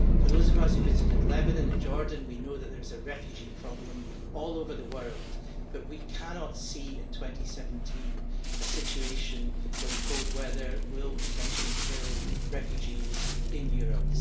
For those of us who visited Lebanon and Jordan, we know that there is a refugee problem all over the world, but we cannot see in 2017 a situation where the cold weather will potentially kill refugees in Europe.